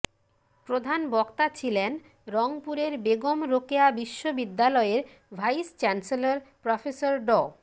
প্রধান বক্তা ছিলেন রংপুরের বেগম রোকেয়া বিশ্ববিদ্যালয়ের ভাইস চ্যান্সেলর প্রফেসর ড